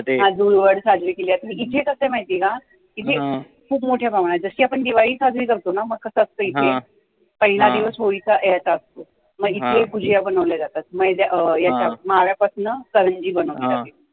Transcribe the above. अं धुळवड साजरी केली जाते, आणि इथे कसे आहे माहित आहे का? इथे खूप मोठ्या प्रमाणात, जसं की आपण दिवाळी साजरी करतो ना, मग कसं असतं इथे, पहिला दिवस होळीचा ह्याचा असतो मग इथे भूजिया बनवल्या जातात, मैदा याच्या माव्या पासून करंजी बनवल्या जाते